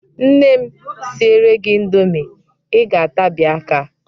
Nne m siere gị indomi, Ị ga-atabi aka.